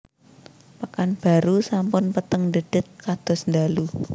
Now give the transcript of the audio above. Pekanbaru sampun peteng ndhedhet kados ndalu